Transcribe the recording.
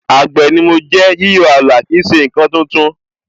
Àgbè ni mo jẹ́, yíyọ ààlà kì í ṣe ǹkan tuntun